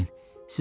Qorxmayın.